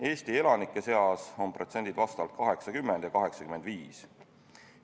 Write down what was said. Eesti elanike seas on need protsendid 80 ja 85.